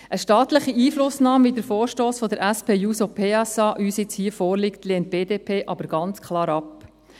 Eine staatliche Einflussnahme, gemäss dem Vorstoss der SP-JUSO-PSA, der uns hier vorliegt, lehnt die BDP ganz klar ab.